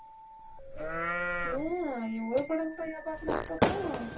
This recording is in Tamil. ஏன், என் ஒரு படம் கூடயா பார்க்கல அதுக்கப்புறம்?